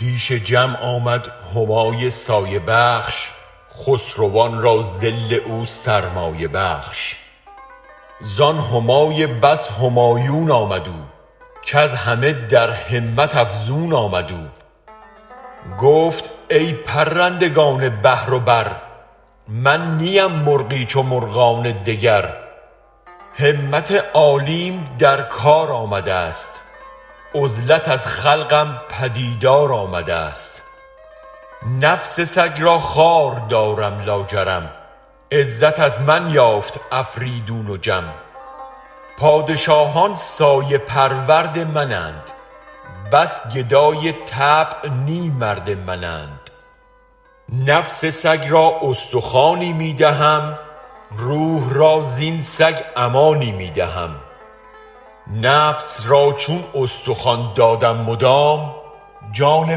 پیش جمع آمد همای سایه بخش خسروان را ظل او سرمایه بخش زان همای بس همایون آمد او کز همه در همت افزون آمد او گفت ای پرندگان بحر و بر من نیم مرغی چو مرغان دگر همت عالیم در کار آمدست عزلت از خلقم پدیدار آمدست نفس سگ را خوار دارم لاجرم عزت از من یافت آفریدون و جم پادشاهان سایه پرورد من اند بس گدای طبع نی مرد من اند نفس سگ را استخوانی می دهم روح را زین سگ امانی می دهم نفس را چون استخوان دادم مدام جان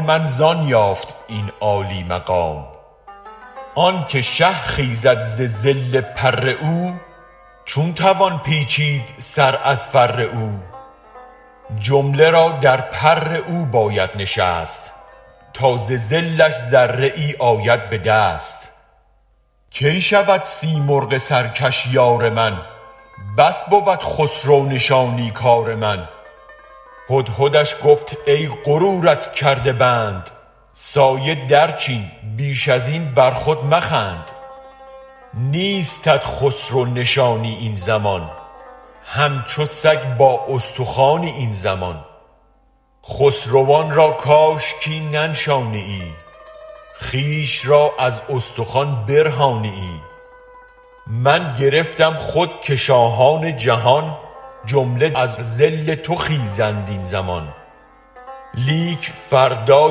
من زان یافت این عالی مقام آنک شه خیزد ز ظل پر او چون توان پیچید سر از فر او جمله را در پر او باید نشست تا ز ظلش ذره ای آید به دست کی شود سیمرغ سرکش یار من بس بود خسرو نشانی کار من هدهدش گفت ای غرورت کرده بند سایه درچین بیش از این برخود مخند نیستت خسرو نشانی این زمان همچو سگ با استخوانی این زمان خسروان را کاشکی ننشانیی خویش را از استخوان برهانیی من گرفتم خود که شاهان جهان جمله از ظل تو خیزند این زمان لیک فردا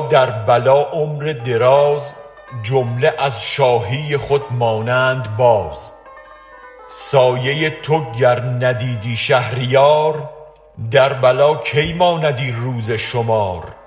در بلا عمر دراز جمله از شاهی خود مانند باز سایه تو گر ندیدی شهریار در بلا کی ماندی روز شمار